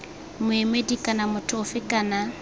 moemedi kana motho ofe kana